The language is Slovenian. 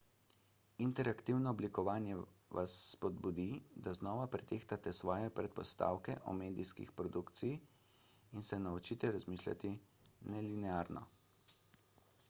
interaktivno oblikovanje vas spodbudi da znova pretehtate svoje predpostavke o medijski produkciji in se naučite razmišljati nelinearno